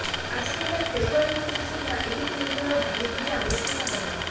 ଆସନ୍ତା ଫେବୃୟାରୀ ମାସ ସୁଦ୍ଧା ଏହି କେନ୍ଦ୍ରର ଭୂମିପୂଜା ଅନୁଷ୍ଠିତ ହେବ